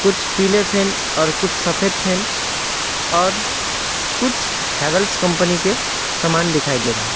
कुछ पीले फैन और कुछ सफेद फैन और कुछ हैवेल्स कंपनी के समान दिखाई दे रहे हैं।